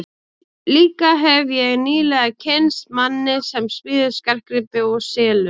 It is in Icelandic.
Líka hefi ég nýlega kynnst manni sem smíðar skartgripi og selur.